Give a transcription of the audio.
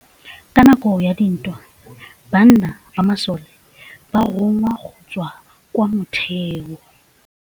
Ka nakô ya dintwa banna ba masole ba rongwa go tswa kwa mothêô.